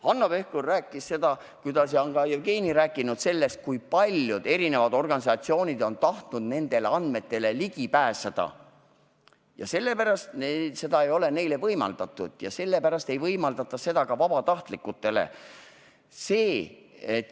Hanno Pevkur rääkis ja ka Jevgeni on rääkinud, kui paljud organisatsioonid on tahtnud nendele andmetele ligi pääseda ja kuidas neile ei ole seda võimaldatud ja et sellepärast ei võimaldata seda ka vabatahtlikele.